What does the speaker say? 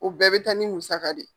O bɛɛ be taa ni musaka de ye.